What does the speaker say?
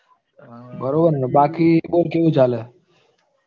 બરોબર ને બાકી બોલ કેવું ચાલે?